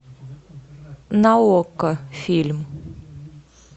на окко фильм